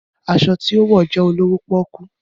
Aṣọ ti o wọ jẹ olowo poku